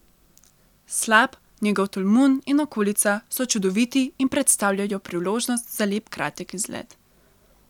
Slap, njegov tolmun in okolica so čudoviti in predstavljajo priložnost za lep kratek izlet.